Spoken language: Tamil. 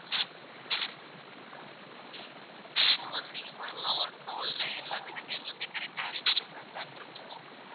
so வந்து நீங்க பண்ணலாம் ஒண்ணும் இல்ல எல்லாமே நாங்க எல்லாமே correct டா arrange பண்ணி தான் தந்திருப்போம்.